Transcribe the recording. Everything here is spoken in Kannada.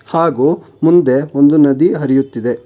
ಹಾಗೂ ಮುಂದೆ ಒಂದು ನದಿ ಹರಿಯುತ್ತಿದೆ.